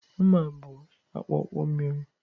Mma bụ akpụkpọ miri